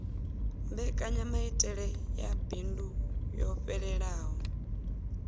mbekanyamaitele ya bindu yo fhelelaho